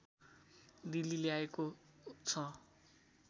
दिल्ली ल्याइएको छ